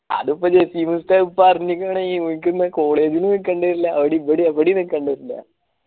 അതിപ്പോ ജാസിമുസ്താദ് പറഞ്ഞിക്ണ് college may നിക്കണില്ല ഇവിടെയും എവിടെയും നിക്കണില്ല